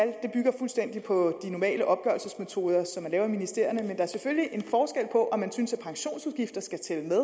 er på de normale opgørelsesmetoder som man laver i ministerierne men der er selvfølgelig en forskel på om man synes at pensionsudgifter skal tælle med